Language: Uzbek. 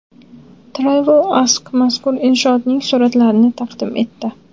TravelAsk mazkur inshootning suratlarini taqdim etdi .